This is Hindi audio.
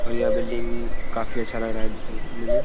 और यह बिल्डिंग काफ़ी अच्छा लग रहा है दिखने में।